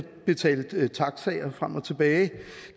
betalt taxaer frem og tilbage